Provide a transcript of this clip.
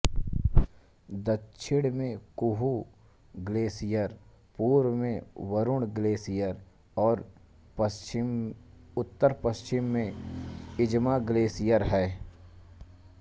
दक्षिण में हुंकू ग्लेशियर पूर्व में बरुण ग्लेशियर और उत्तरपश्चिम में इमजा ग्लेशियर है